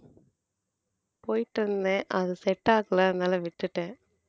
போயிட்டு இருந்தேன் அது set ஆகல அதனால விட்டுட்டேன்